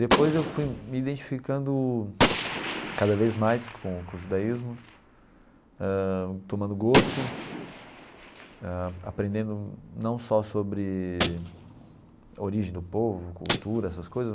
Depois eu fui me identificando cada vez mais com com o judaísmo, eh tomando gosto, eh aprendendo não só sobre a origem do povo, cultura, essas coisas,